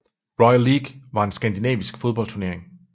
Royal League var en skandinavisk fodboldturnering